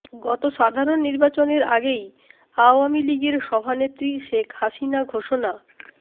গত সাধারণ নির্বাচনের আগেই আওয়ামী লীগের সভানেত্রী শেখ হাসিনা ঘোষণা